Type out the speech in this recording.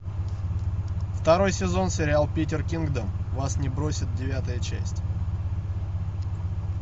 второй сезон сериал питер кингдом вас не бросит девятая часть